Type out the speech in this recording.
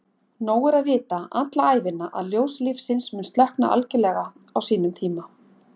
Nóg er að vita alla ævina að ljós lífsins mun slokkna algjörlega á sínum tíma.